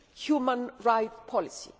human rights policy.